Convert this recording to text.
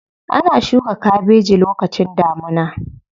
Ana shuka kabeji lokacin damuna.